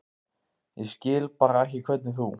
Ég skil bara ekki hvernig þú.